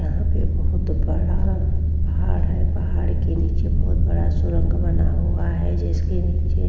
यहां पर बोहोत बड़ा पहाड़ है। पहाड़ के नीचे बोहोत बड़ा सुरंग बना हुआ है। जिसके नीचे --